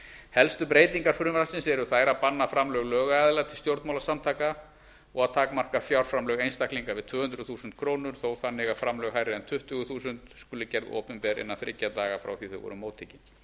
helstu breytingar frumvarpsins eru þær að banna framlög lögaðila til stjórnmálasamtaka og að takmarka fjárframlög einstaklinga við tvö hundruð þúsund krónur þó þannig að framlög hærri en tuttugu þúsund krónur skuli gera opinber innan þriggja daga frá því að þau voru móttekin